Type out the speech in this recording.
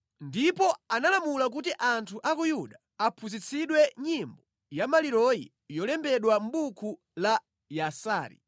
Ndipo analamula kuti anthu a ku Yuda aphunzitsidwe nyimbo ya maliroyi imene yalembedwa mʼbuku la Yasari: